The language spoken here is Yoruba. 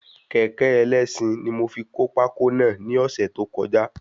Kékẹ̀ ẹlẹ́sin ní mo fi kó pákó náà ní ọ̀sẹ̀ tí ó kọjá